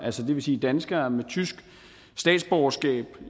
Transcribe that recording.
det vil sige danskere med tysk statsborgerskab